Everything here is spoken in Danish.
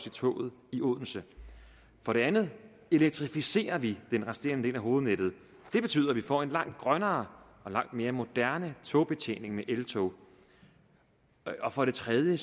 i toget i odense for det andet elektrificerer vi den resterende del af hovednettet det betyder at vi får en langt grønnere og langt mere moderne togbetjening med eltog og for det tredje